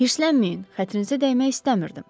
Hirslənməyin, xətrinizə dəymək istəmirdim.